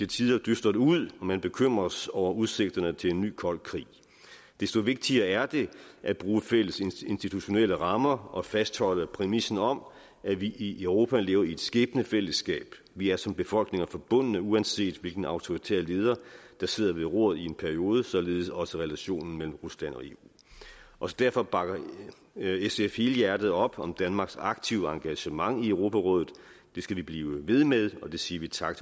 tider dystert ud og man bekymres over udsigterne til en ny kold krig desto vigtigere er det at bruge fælles institutionelle rammer og fastholde præmissen om at vi i europa lever i et skæbnefællesskab vi er som befolkninger forbundne uanset hvilken autoritær leder der sidder ved roret i en periode således også relationen mellem rusland og eu også derfor bakker sf helhjertet op om danmarks aktive engagement i europarådet det skal vi blive ved med og vi siger tak